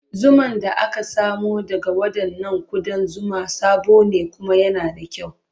Zuman da aka samo daga waɗannan ƙudan zuma sabo ne kuma yana da kyau.